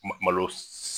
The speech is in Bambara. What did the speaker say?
Malo